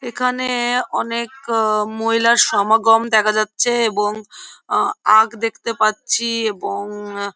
এখানে-এ অনেক মহিলার সমাগম দেখা যাচ্ছে-এ এবং অ আগ দেখতে পাচ্ছি-ই এবং-অ--